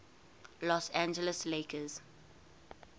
los angeles lakers